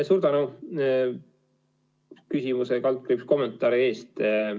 Suur tänu küsimuse ja kommentaari eest!